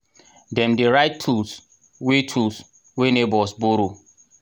dem dey write tools wey tools wey neighbours borrow.